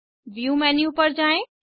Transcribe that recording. view menu पर जाएँ